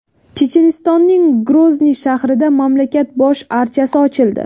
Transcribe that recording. Chechenistonning Grozniy shahrida mamlakat bosh archasi ochildi.